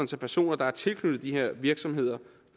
så personer der er tilknyttet de her virksomheder og